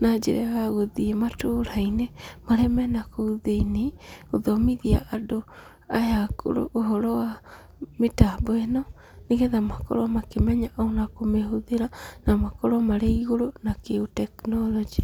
na njĩra ya gũthiĩ matũra-inĩ marĩa mena kũu thĩiniĩ, gũthomithia andũ aya akũrũ ũhoro wa mĩtambo ĩno, nĩgetha makorwo makĩmenya ona kũmĩhũthĩra, na makorwo marĩ igũrũ na kĩũtekinoronjĩ.